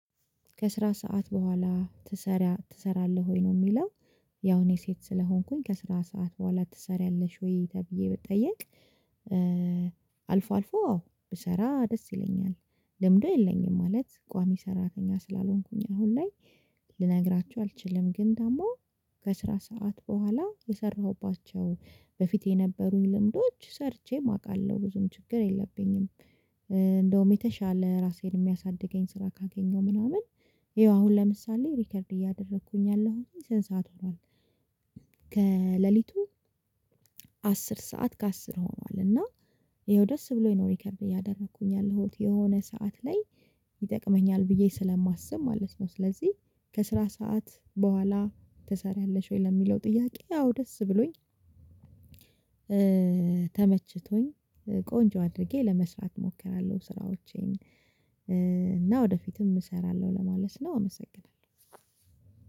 ከስራ ሰዓት በኋላ ትሰራ ትሰራለህ ወይ ነው ሚለው? ያው እኔ ሴት ስለሆንኩኝ ከስራ ሰዓት በኋላ ትሰሪያለሽ ወይ ተብዬ ብትጠየቅ? አልፎ አልፎ አዎ ብሰራ ደስ ይለኛል ልምዱ የለኝም ማለት ቋሚ ሰራተኛ ስላልሆንኩኝ አሁን ላይ። ልነግራችሁ አልችልም ግን ደግሞ። ከስራ ሰዓት በኋላ የሰራሁባቸው በፊት የነበሩኝ ልምዶች ሰርቼም አቃለሁ ብዙም ችግር የለብኝም። እንደውም የተሻለ ራሴን የሚያሳድገኝ ስራ ካገኘሁ ምናምን። ይኸው አሁን ለምሳሌ ሪከርድ እያደረኩኝ ያለሁኝ ሰንት ሰዓት ሆኗል። ከሌሊቱ አስር ሰዓት ከአስር ሆኗል። እና። ይኸው ደስ ብሎ ይኖር ሪከርድ ያደረኩኝ ያለሁት የሆነ ሰዓት ላይ ይጠቅመኛል ብዬ ስለማስብ ማለት ነው። ስለዚህ ከስራ ሰዓት በኋላ ትሰሪያለሽ ወይ ለሚለው ጥያቄ አዎ ደስ ብሎኝ። ተመችቶኝ። ቆንጆ አድርጌ ለመስራት እሞክራለሁ ስራዎቼን። እና ወደፊትም እሰራለው ለማለት ነው አመሰግናለው።